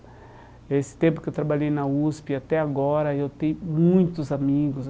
Nesse tempo que eu trabalhei na USP, até agora, eu tenho muitos amigos.